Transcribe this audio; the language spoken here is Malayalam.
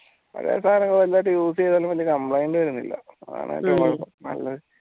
ഓരോ സാനങ്ങളും use യ്താലും വെല്യ complaint വരുന്നില്ല